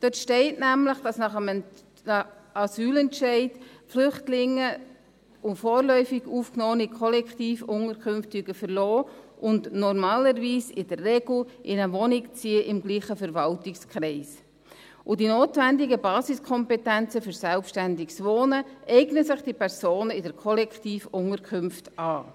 Dort steht nämlich, dass nach einem Asylentscheid Flüchtlinge und vorläufig Aufgenommene Kollektivunterkünfte verlassen und normalerweise in der Regel in eine Wohnung im selben Verwaltungskreis ziehen, wobei sich diese Personen die notwendigen Basiskompetenzen für selbstständiges Wohnen in den Kollektivunterkünften aneignen.